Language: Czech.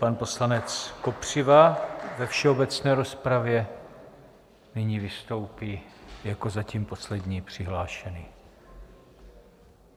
Pan poslanec Kopřiva ve všeobecné rozpravě nyní vystoupí jako zatím poslední přihlášený.